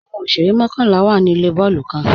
Awọn òṣèrè mọ̀kanlá wá ní ilẹ̀ bọọ̀lù kan.